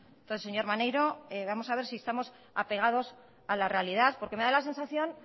entonces señor maneiro vamos a ver si estamos apegados a la realidad porque me da la sensación